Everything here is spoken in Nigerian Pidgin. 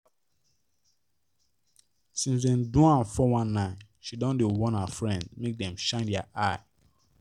since dem do am 419 she don dey warn her friends make dem shine their eye